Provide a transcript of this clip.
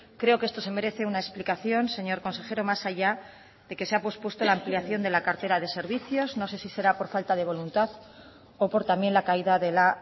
creo que esto se merece una explicación señor consejero más allá de que se ha pospuesto la ampliación de la cartera de servicios no sé si será por falta de voluntad o por también la caída de la